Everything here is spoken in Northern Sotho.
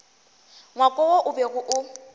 ngwako wo o bego o